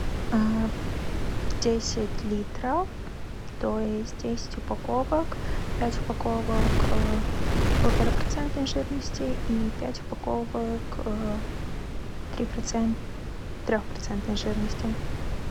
десять литров то есть десять упаковок пять упаковок полтора процентной жирности и пять упаковок трехпроцентной жирности